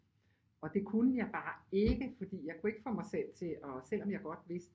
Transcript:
Og det kunne jeg bare ikke fordi jeg kunne ikke få mig selv til at selvom jeg godt vidste